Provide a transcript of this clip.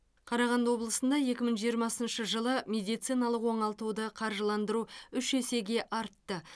қарағанды облысында екі мың жиырмасыншы жылы медициналық оңалтуды қаржыландыру үш есеге артты